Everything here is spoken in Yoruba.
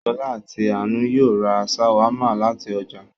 Ṣọ̀lá àti Àánú yóò ra ṣàwámà láti ọjà